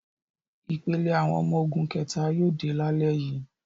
Ìpele àwọn ọmọ ogun kẹ̀ta yóò dé lálẹ́ yìí.